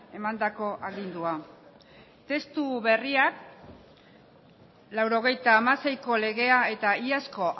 emandako agindua testu berriak laurogeita hamaseiko legea eta iazko